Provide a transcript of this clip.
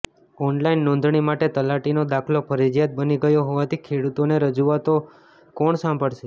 online નોધણી માટે તલાટીનો દાખલો ફરજિયાત બની ગયો હોવાથી ખેડુતોને રજુઆતો કોણ સાંભળશે